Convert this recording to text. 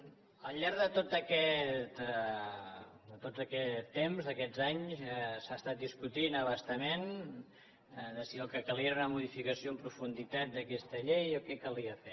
al llarg de tot aquest temps d’aquest anys s’ha estat discutint a bastament si el que calia era una modificació en profunditat d’aquesta llei o què calia fer